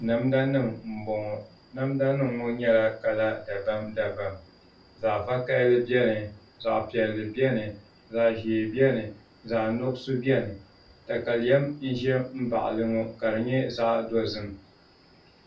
Namda nim n bɔŋɔ namda nim ŋɔ nyɛla kala dabam dabam zaɣ vakaɣali biɛni zaɣ piɛlli biɛni zaɣ ʒiɛ biɛni zaɣ nuɣso biɛni katalɛm n ʒɛ n baɣali ŋɔ ka di nyɛ zaɣ dozim